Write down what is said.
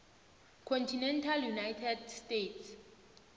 continental united states